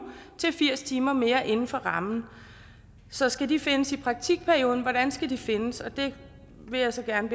til firs timer mere inden for rammen så skal de findes i praktikperioden hvordan skal de findes det vil jeg så gerne